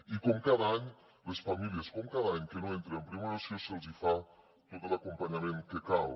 i com cada any a les famílies com cada any que no entren en primera opció se’ls fa tot l’acompanyament que cal